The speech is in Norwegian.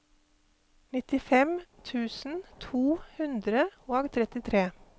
nittifem tusen to hundre og trettitre